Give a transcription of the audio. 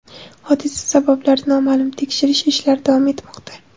Hodisa sabablari noma’lum, tekshirish ishlari davom etmoqda.